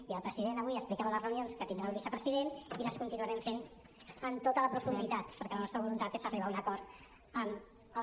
i el president avui explicava les reunions que tindrà el vicepresident i les continuarem fent amb tota la profunditat perquè la nostra voluntat és arribar a un acord amb els